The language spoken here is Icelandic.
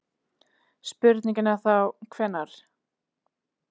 Spurningin er þá, hvenær?